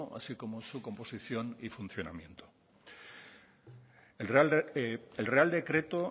así como su composición y su funcionamiento el real decreto